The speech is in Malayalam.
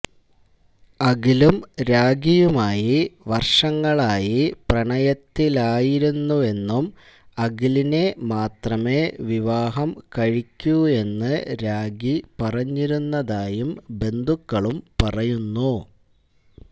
അഖിലും രാഖിയുമായി വര്ഷങ്ങളായി പ്രണയത്തിലായിരുന്നെന്നും അഖിലിനെ മാത്രമേ വിവാഹം കഴിക്കൂയെന്ന് രാഖി പറഞ്ഞിരുന്നതായും ബന്ധുക്കളും പറയുന്നു